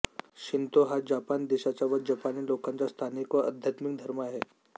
Shinto हा जपान देशाचा व जपानी लोकांचा स्थानिक व अध्यात्मिक धर्म आहे